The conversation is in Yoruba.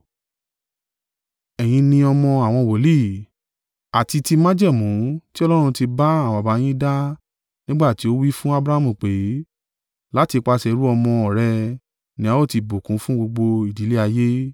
Ẹ̀yin ni ọmọ àwọn wòlíì, àti ti májẹ̀mú tí Ọlọ́run ti bá àwọn baba yín dá nígbà tí ó wí fún Abrahamu pé, ‘Láti ipasẹ̀ irú àwọn ọmọ rẹ̀ ni a ó ti bùkún fún gbogbo ìdílé ayé.’